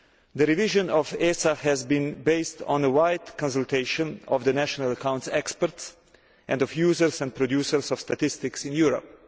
The revision of the ESA has been based on a wide consultation of the national accounts experts and of users and producers of statistics in Europe.